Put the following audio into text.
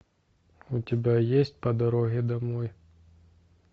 у тебя есть по дороге домой